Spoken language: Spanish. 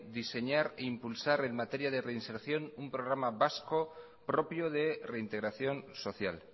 diseñar e impulsar en materia de reinserción un programa vasco propio de reintegración social